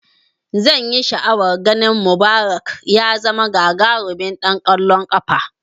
Zanyi sha'awan ganin Mubarak ya zama gagarimin ɗan kwallon kafa